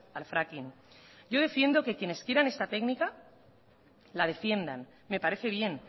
al fracking yo defiendo que quienes quieran esta técnica la defienda me parece bien